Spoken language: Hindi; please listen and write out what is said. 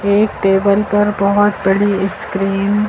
एक टेबल पर बहुत बड़ी स्क्रीन --